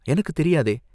எனக்குத் தெரியாதே?